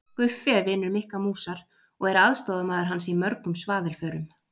Guffi er vinur Mikka músar og er aðstoðarmaður hans í mörgum svaðilförum.